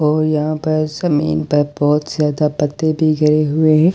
और यहाँ पर जमीन पर बहुत ज्यादा पत्ते भी गिरे हुए हैं।